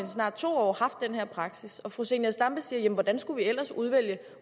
snart to år haft den her praksis fru zenia stampe siger jamen hvordan skulle vi ellers udvælge